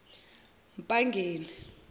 mpangeni